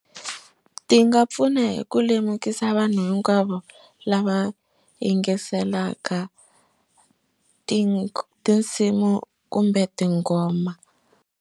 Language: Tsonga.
Ti nga pfuna hi ku lemukisa vanhu hinkwavo lava yingiselaka ti tinsimu kumbe tinghoma.